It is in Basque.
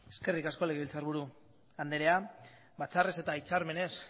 eskerrik asko legebiltzarburu anderea batzarrez eta hitzarmenez